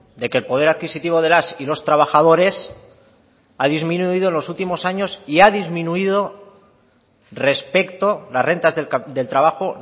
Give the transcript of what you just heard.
de que el poder adquisitivo de las y los trabajadores ha disminuido en los últimos años y ha disminuido respecto las rentas del trabajo